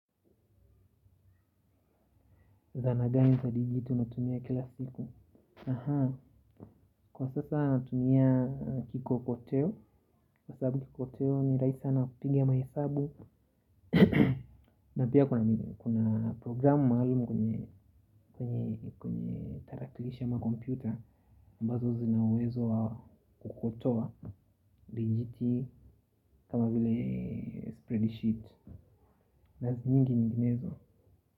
Zana gani za digiti unatumia kila siku. Kwa sasa natunia kikokoteo. Kwa sababu kikokoteo ni rahisi sana kupiga mahesabu. Na pia kuna programu maalumu kwenye kwenye tarakilishi ama kompyuta ambazo zina uwezo wa kukokotoa dijiti kama vile spreadsheet. Na nyingi nyinginezo.